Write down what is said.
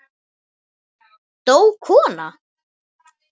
Dó kona?